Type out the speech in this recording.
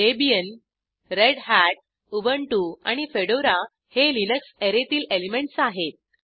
Debian रेढत Ubuntu आणि Fedora हे लिनक्स अॅरेतील एलिमेंटस आहेत